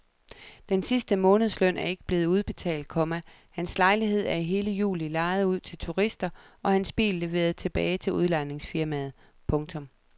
Den sidste månedsløn er ikke blevet udbetalt, komma hans lejlighed er i hele juli lejet ud til turister og hans bil leveret tilbage til udlejningsfirmaet. punktum